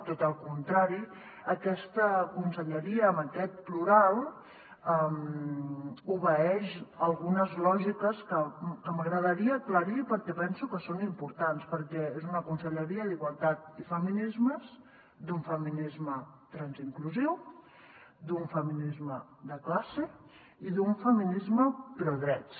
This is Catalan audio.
tot el contrari aquesta conselleria amb aquest plural obeeix algunes lògiques que m’agradaria aclarir perquè penso que són importants perquè és una conselleria d’igualtat i feminismes d’un feminisme transinclusiu d’un feminisme de classe i d’un feminisme prodrets